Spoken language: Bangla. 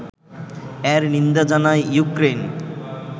এর নিন্দা জানায় ইউক্রেইন